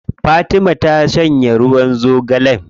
Fatima ta shanye ruwan zogalen.